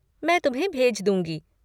मैं तुम्हें भेज दूँगी।